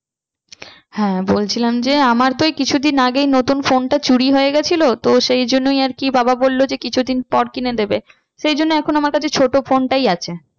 হ্যাঁ বলছিলাম যে আমার তো এই কিছুদিন আগে নতুন phone টা চুরি হয়ে গিয়েছিলো তো সেই জন্যই আর কি বাবা বললো যে কিছুদিন পর কিনে দেবে। সেই জন্য আমার কাছে ছোটো phone টাই আছে।